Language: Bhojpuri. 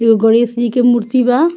एगो गणेश जी के मूर्ति बा।